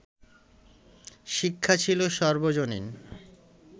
শিক্ষা ছিল সর্বজনীন